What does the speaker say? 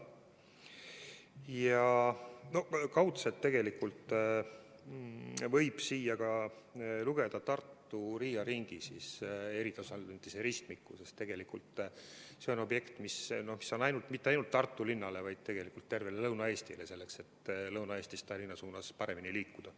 Ja kaudselt võib siia lugeda ka Tartu Riia ringi eritasandilise ristmiku, sest tegelikult see on objekt, mis pole tähtis ainult Tartu linnale, vaid tervele Lõuna-Eestile, selleks et saaks Lõuna-Eestist Tallinna suunas paremini liikuda.